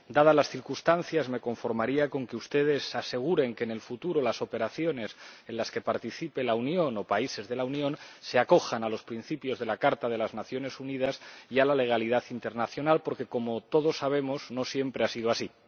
Dadas las circunstancias, me conformaría con que ustedes aseguren que en el futuro las operaciones en las que participen la Unión o países de la Unión se acojan a los principios de la Carta de las Naciones Unidas y a la legalidad internacional, porque, como todos sabemos, no siempre ha sido así.